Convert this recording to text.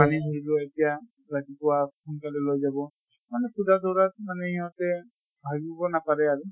মানে ধৰি লোৱা এতিয়া ৰাতিপুৱা সোনকালে লৈ যাব, মানে সুদা ধৰা মানে সহঁতে ভাবিব নাপাৰে আৰু।